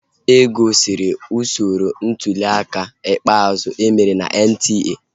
E gosiri usoro ntuliaka ikpeazụ emere na NTA